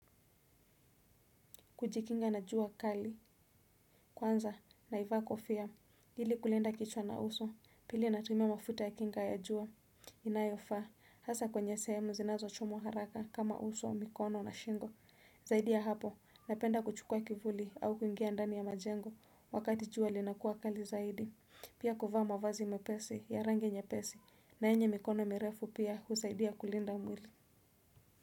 Kujikinga na jua akali, kwanza naivaa kofia, ili kulinda kichwa na uso, pili natumia mafuta ya kinga ya jua, inayofaa, hasa kwenye sehemu zinazo chomwa haraka kama uso, mikono na shingo, zaidi ya hapo, napenda kuchukua kivuli au kuingia ndani ya majengo, wakati jua linakuwa kali zaidi, pia kuvaa mavazi mepesi, ya rangi nyepesi, na yenye mikono mirefu pia husaidia kulinda mwili.